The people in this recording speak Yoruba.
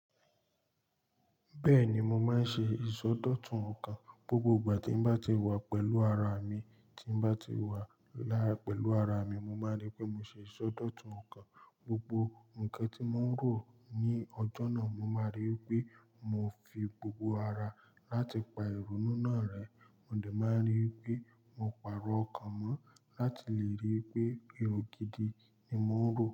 Bẹ́ẹ̀ni, mo máa ń ṣe ìsọdọ̀tun ọkàn. Gbogbo ìgbà tí n bá ti wà pẹ̀lú ara mi, tí n bá ti wà lára pẹ̀lú ara mi, mo máa ní pé mo ṣe ìsọdọ̀tun ọkàn. Gbogbo nǹkan tí mo ń rò ní ọjọ́ náà, mo máa rí i pé mo fi gbogbo ara láti pa ìrònú náà rẹ. Mo dè máa rí wipé mo pàrọ̀ ọkàn mọ́ láti lè rí wi pé èrò gidi ni mo ń rò.